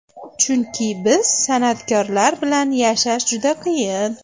Chunki biz, san’atkorlar, bilan yashash juda qiyin.